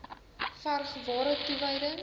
verg ware toewyding